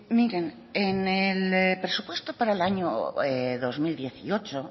miren en el presupuesto para el año dos mil dieciocho